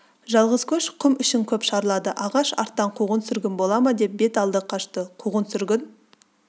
жалғыз көш құм ішін көп шарлады алғаш арттан қуғын-сүргін бола ма деп бет алды қашты қуғын-сүргін